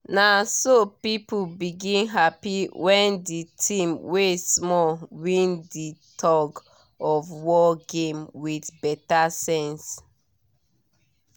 naso people begin happy when di team wey small win di tug of war game with beta sense